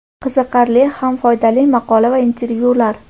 Qiziqarli ham foydali maqola va intervyular.